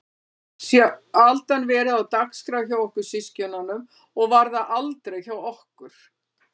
Það hefur sjaldan verið á dagskrá hjá okkur systkinunum og var það aldrei hjá okkur